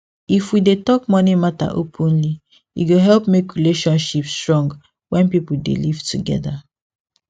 if we dey talk money matter openly e go help make relationship strong wen people dey live together